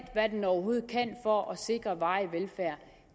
hvad den overhovedet kan for at sikre varig velfærd